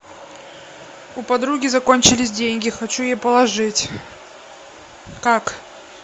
у подруги закончились деньги хочу ей положить как